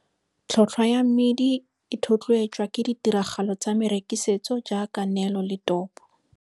Tlhotlhwa ya mmidi e thotloetswa ke ditiragalo tsa merekisetso jaaka neelo le topo.